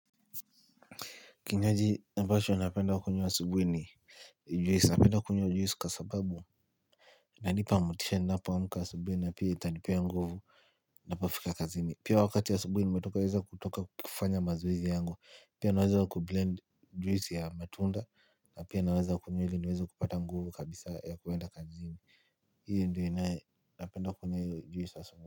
Kinywaji ambacho napenda kunywa asubuhi ni Juisi napenda kunywa juisi kwa sababu iNanipa motisha ninapoamka asubuhi na pia itanipea nguvu ninapofika kazini. Pia wakati wa asubuhi nimetoka weza kutoka kufanya mazoezi yangu Pia naweza wa kublend juisi ya matunda na pia naweza kunywa ili niweza kupata nguvu kabisa ya kuenda kazini Hii ndiyo inae napenda kunywa hio juisi asubuhi.